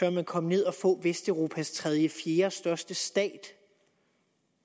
vil man komme ned og få vesteuropas tredje eller fjerdestørste stat